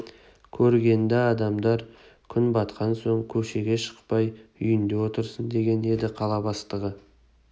көргенді адамдар күн батқан соң көшеге шықпай үйінде отырсын деген еді қала бастығы